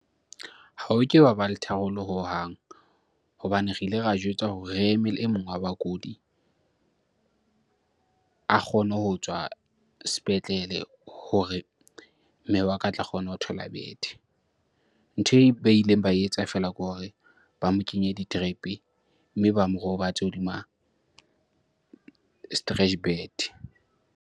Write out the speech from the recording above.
Ha ho ke wa ba le tharollo hohang hobane re ile ra jwetswa hore re emele e mong wa bakudi a kgone ho tswa sepetlele hore mme wa ka a tla kgona ho thola bethe. Ntho e ba ileng ba etsa feela ke hore ba mo kenye di-drip-e mme ba mo robatse hodima .